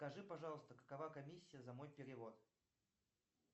скажи пожалуйста какова комиссия за мой перевод